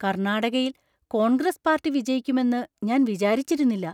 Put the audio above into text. കർണാടകയിൽ കോൺഗ്രസ് പാർട്ടി വിജയിക്കുമെന്ന് ഞാൻ വിചാരിച്ചിരുന്നില്ല.